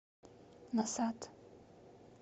назад